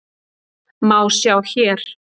má sjá hér.